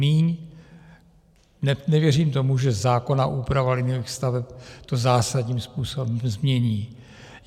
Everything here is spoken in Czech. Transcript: Míň, nevěřím tomu, že zákonná úprava liniových staveb to zásadním způsobem změní.